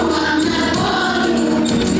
Zalımlar var.